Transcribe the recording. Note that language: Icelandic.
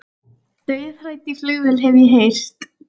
Dauðhrædd í flugvél hef ég heyrt.